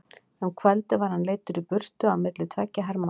Um kvöldið var hann leiddur í burtu á milli tveggja hermanna.